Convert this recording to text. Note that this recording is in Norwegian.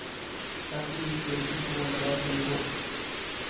femtini tusen to hundre og tjueto